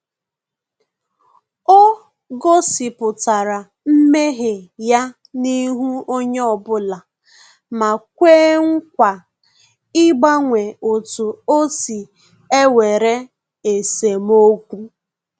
Ọ gosipụtara mmehie ya n’ihu onyeobula ma kwee nkwa ịgbanwe otu osi ewere esemokwu